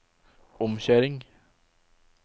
omkjøring